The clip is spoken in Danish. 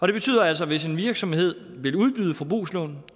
det betyder altså at hvis en virksomhed vil udbyde forbrugslån